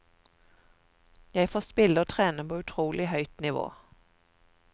Jeg får spille og trene på utrolig høyt nivå.